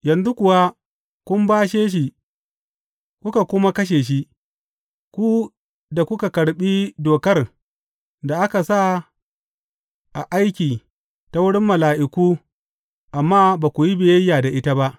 Yanzu kuwa kun bashe shi kuka kuma kashe shi ku da kuka karɓi dokar da aka sa a aiki ta wurin mala’iku amma ba ku yi biyayya da ita ba.